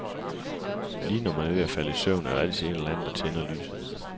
Lige når man er ved at falde i søvn, er der altid en eller anden, der tænder lyset.